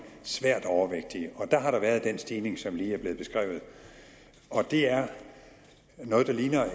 svært overvægtige der har der været den stigning som lige er blevet beskrevet det er noget